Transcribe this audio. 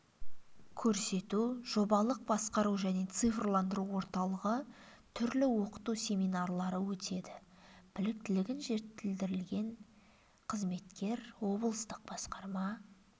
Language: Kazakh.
көрсету жобалық басқару және цифрландыру орталығы түрлі оқыту семинарлары өтеді біліктілігін жетілдірген қызметкер облыстық басқарма